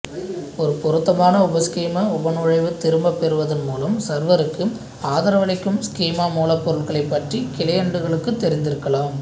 ஒரு பொருத்தமான உபஸ்கீமா உபநுழைவைத் திரும்பப்பெறுவதன் மூலம் சர்வருக்கு ஆதரவளிக்கும் ஸ்கீமா மூலப்பொருள்களைப் பற்றி கிளையண்டுகளுக்குத் தெரிந்திருக்கலாம்